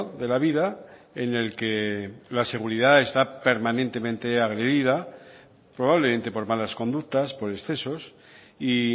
de la vida en el que la seguridad está permanentemente agredida probablemente por malas conductas por excesos y